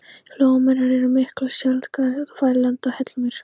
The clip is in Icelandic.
Flóamýrar eru miklu sjaldgæfari hér á landi en hallamýrar.